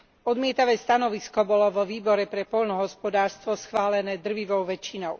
Odmietavé stanovisko bolo vo Výbore pre poľnohospodárstvo schválené drvivou väčšinou.